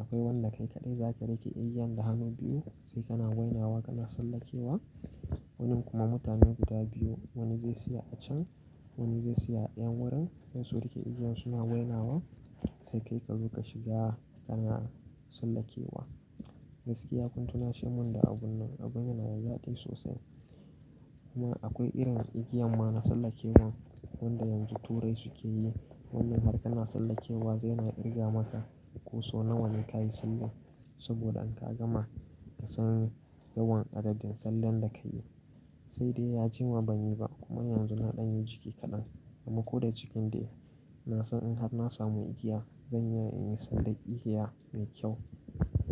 Akwai wanda kai kaɗai zaka riƙe igiyan da hannu biyu sai kana wainawa kana sallakewa. Wannan kuma mutane guda biyu wani zai siya a can wani zai siya a ɗayan wurin, sai su riƙe igiyan suna wainawa sai kai ka zo ka shiga kana sallakewa. Gaskiya kun tunashi mun da abun nan, abun yana da zaɗi sosai. Kuma akwai irin igiyan ma na sallakewa wanda yanzu turai suke yi. Wannan har kana sallakewa zai na kirga maka ko so nawanne kayi salle. Saboda in ka gama ka san yawan adadin sallan da ka yi. Sai dai ya jima ban yi ba kuma yanzu na ɗan yi jiki kaɗan. Amma ko da jikin dai nasan in har na samu igiya zan iya in yi sallar igiya mai kyau.